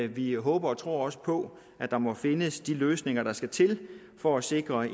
vi håber og tror også på at der må findes de løsninger der skal til for at sikre